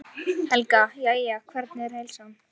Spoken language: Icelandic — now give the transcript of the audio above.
Helga: Jæja, hvernig er heilsan?